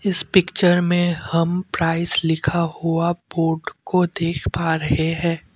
इस पिक्चर में हम प्राइस लिखा हुआ बोर्ड को देख पा रहे है।